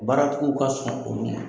Baaratigiw ka sɔn olu ma